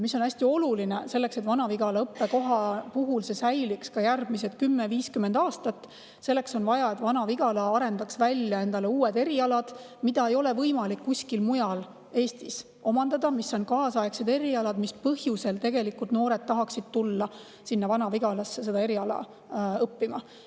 Hästi oluline, vajalik selleks, et Vana-Vigala õppekoht säiliks ka järgmised 10–50 aastat, on see, et Vana-Vigala arendaks endale välja uued erialad, mida ei ole võimalik kuskil mujal Eestis omandada, kaasaegsed erialad, mida noored tahaksid minna Vana-Vigalasse õppima.